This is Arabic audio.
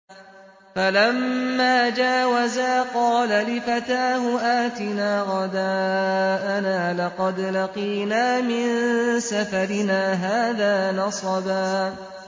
فَلَمَّا جَاوَزَا قَالَ لِفَتَاهُ آتِنَا غَدَاءَنَا لَقَدْ لَقِينَا مِن سَفَرِنَا هَٰذَا نَصَبًا